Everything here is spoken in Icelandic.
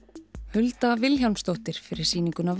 Hulda Vilhjálmsdóttir fyrir sýninguna